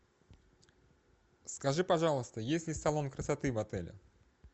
скажи пожалуйста есть ли салон красоты в отеле